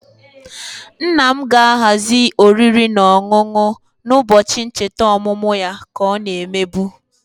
Nna m ga-ahazi oriri na ọṅụṅụ na-ụbọchị ncheta ọmụmụ ya ka ọ na-emebu